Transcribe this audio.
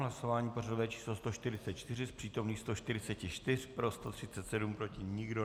Hlasování pořadové číslo 144, z přítomných 144 pro 137, proti nikdo.